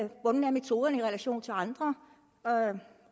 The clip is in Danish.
hvordan metoderne er i relation til andre